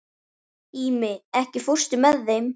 Ími, ekki fórstu með þeim?